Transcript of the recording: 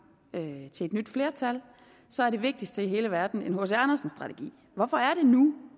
er blevet overdraget til et nyt flertal og så er det vigtigste i hele verden en hc andersen strategi hvorfor er det nu